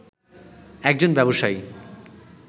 একজন ব্যবসায়ী